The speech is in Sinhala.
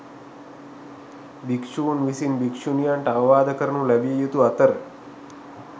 භික්‍ෂූන් විසින් භික්‍ෂුණියන්ට අවවාද කරනු ලැබිය යුතු අතර